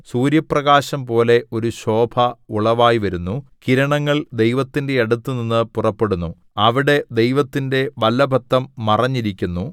സൂര്യപ്രകാശംപോലെ ഒരു ശോഭ ഉളവായിവരുന്നു കിരണങ്ങൾ ദൈവത്തിന്റെ അടുത്തുനിന്ന് പുറപ്പെടുന്നു അവിടെ ദൈവത്തിന്റെ വല്ലഭത്വം മറഞ്ഞിരിക്കുന്നു